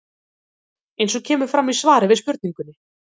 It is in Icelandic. Eins og kemur fram í svari við spurningunni